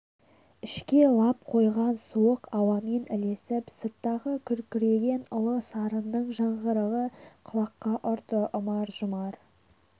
ішке лап қойған суық ауамен ілесіп сырттағы күркіреген ұлы сарынның жаңғырығы құлаққа ұрды ұмар-жұмар